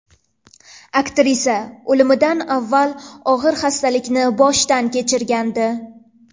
Aktrisa o‘limidan avval og‘ir xastalikni boshdan kechirgandi.